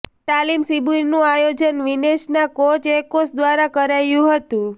તાલીમ શિબિરનું આયોજન વિનેશના કોચ એકોસ દ્વારા કરાયું હતું